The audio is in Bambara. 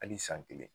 Hali san kelen